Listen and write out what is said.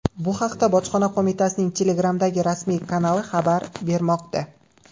Bu haqda bojxona qo‘mitasining Telegram’dagi rasmiy kanali xabar bermoqda .